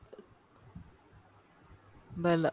বেলা